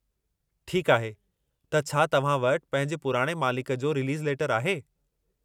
ठीकु आहे, त छा तव्हां वटि पंहिंजे पुराणे मालिक जो रिलीज़ लेटर आहे?